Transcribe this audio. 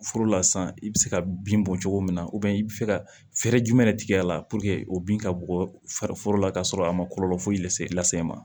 Foro la sisan i bɛ se ka bin bɔ cogo min na i bɛ se ka fɛɛrɛ jumɛn de tigɛ a la o bin ka bɔ fari foro la ka sɔrɔ a ma kɔlɔlɔ foyi lase i la se e ma